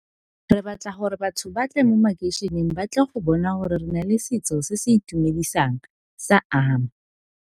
Re batla gore batho ba tle mo makeišeneng ba tle go bona gore re na le setso se se itumedisang sa ama.